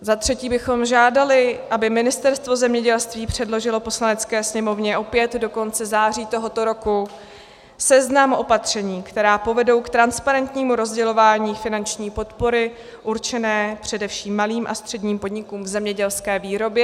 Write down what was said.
Za třetí bychom žádali, aby Ministerstvo zemědělství předložilo Poslanecké sněmovně opět do konce září tohoto roku seznam opatření, která povedou k transparentnímu rozdělování finanční podpory určené především malým a středním podnikům v zemědělské výrobě.